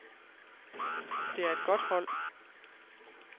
Det er et godt hold.